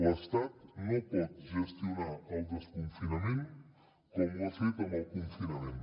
l’estat no pot gestionar el desconfinament com ho ha fet amb el confinament